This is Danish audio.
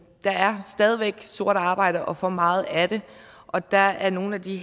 er stadig væk sort arbejde og for meget af det og dér er nogle af de